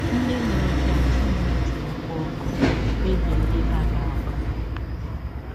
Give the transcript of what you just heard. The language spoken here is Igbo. Ndị mụrụ gị agaghị achọ iji ọkụ ọkụ kpebie ihe ha ga - agwa gị.